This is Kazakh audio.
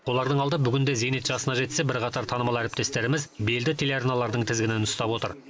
олардың алды бүгінде зейнет жасына жетсе бірқатар танымал әріптестеріміз белді телеарналардың тізгінін ұстап отыр